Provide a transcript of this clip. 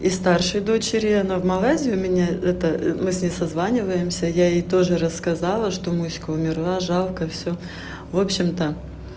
и старшей дочери она в малайзию меня это мы с ней созваниваемся я ей тоже рассказала что мышка умерла жалко всё в общем-то